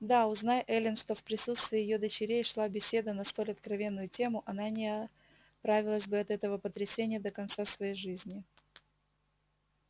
да узнай эллин что в присутствии её дочерей шла беседа на столь откровенную тему она не оправилась бы от этого потрясения до конца своей жизни